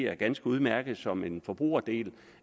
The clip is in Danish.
er ganske udmærket som en forbrugerdel